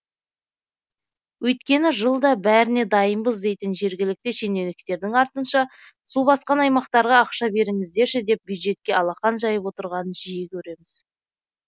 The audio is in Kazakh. өйткені жылда бәріне дайынбыз дейтін жергілікті шенеуніктердің артынша су басқан аймақтарға ақша беріңіздерші деп бюджетке алақан жайып отырғанын жиі көреміз